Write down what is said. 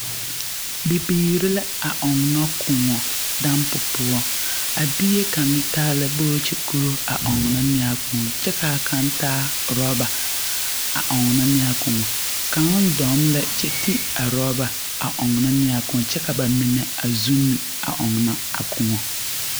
Bibiiri la a ɔnnɔ kõɔ dampo poɔ. Bie kaŋa taa la bookye-kuro a ɔnnɔ ne a kõɔ kyɛ kaa kaŋ taa oraba. Kaŋ dɔŋ lɛ kyɛ Kyi a oraba a ɔnnɔ ne a kõɔ kyɛ ka ba mine a zunne a ɔŋna a kõɔ.